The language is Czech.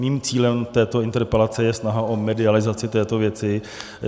Mým cílem této interpelace je snaha o medializaci této věci.